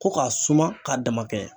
Ko k'a suma k'a dama kɛɲɛn.